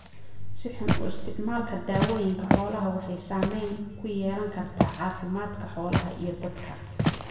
Si xun u isticmaalka dawooyinka xoolaha waxay saamayn ku yeelan kartaa caafimaadka xoolaha iyo dadka.